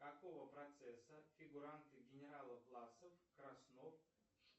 какого процесса фигуранты генерала власов краснов